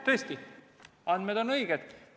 Tõesti, andmed on õiged.